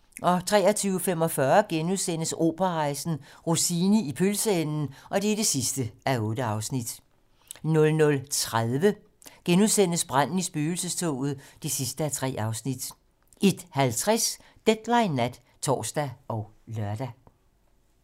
23:45: Operarejsen - Rossini i pølseenden (8:8)* 00:30: Branden i spøgelsestoget (3:3)* 01:50: Deadline nat (tor og lør)